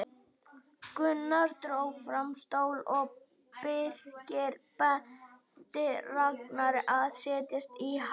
Gunnar dró fram stól og Birkir benti Ragnari að setjast í hann.